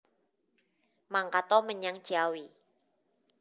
Mangkat o menyang Ciawi